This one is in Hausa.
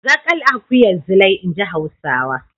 Zaƙal akuyar Zilai, in ji Hausawa.